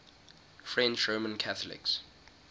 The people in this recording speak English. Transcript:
french roman catholics